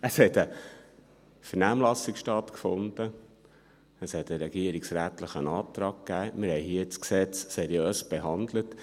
Es hat eine Vernehmlassung stattgefunden, es gab einen regierungsrätlichen Antrag und wir haben das Gesetz hier seriös behandelt.